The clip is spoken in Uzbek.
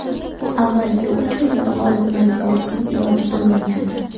Avvalgi uch o‘yinda g‘olibni aniqlashning iloji bo‘lmagandi.